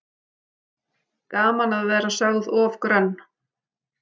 Gaman að vera sögð of grönn